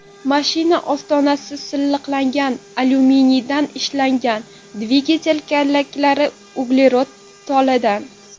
Mashina ostonasi silliqlangan alyuminiydan ishlangan, dvigatel kallaklari uglerod toladan.